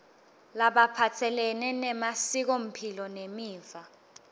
laphatselene nemasikomphilo nemiva